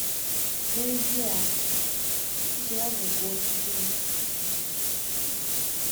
N’ezie, um echiche ya bụ nke onye nkuzi um ụwa.